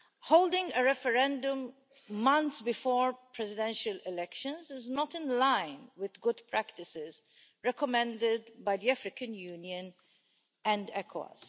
Holding a referendum months before Presidential elections is not in line with the good practices recommended by the African Union and ECOWAS.